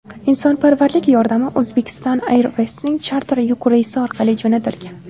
Insonparvarlik yordami Uzbekistan Airways’ning charter yuk reysi orqali jo‘natilgan.